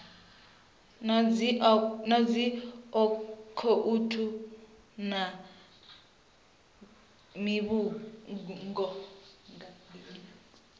na dzi akhouthu na mivhigo